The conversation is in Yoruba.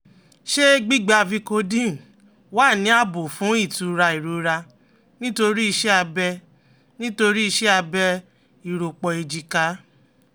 Ṣé gbígba Vicodin wà ní ààbò fún ìtura ìrora nítorí iṣẹ́ abẹ nítorí iṣẹ́ abẹ ìrọ́pò èjìká?